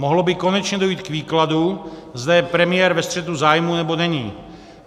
Mohlo by konečně dojít k výkladu, zda je premiér ve střetu zájmu, nebo není.